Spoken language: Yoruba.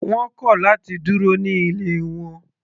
Wọ́n kọ̀ láti dúró ní ilé wọn.